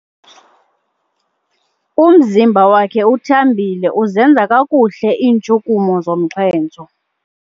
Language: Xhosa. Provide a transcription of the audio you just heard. Umzimba wakhe uthambile uzenza kakuhle iintshukumo zomxhentso.